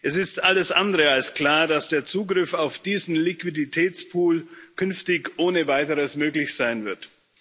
Es ist alles andere als klar, dass der Zugriff auf diesen Liquiditätspool künftig ohne Weiteres möglich sein wird.